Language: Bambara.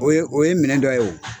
O ye o ye minɛ dɔ ye o.